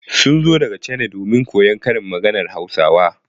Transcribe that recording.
Sun zo daga Chana domin koyon karin maganar Hausawa.